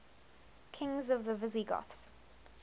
kings of the visigoths